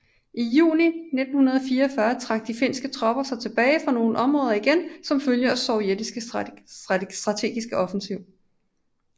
I juni 1944 trak de finske tropper sig tilbage fra nogle områder igen som følge af den sovjetiske strategiske offensiv